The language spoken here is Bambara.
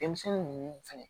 Denmisɛnnin ninnu fɛnɛ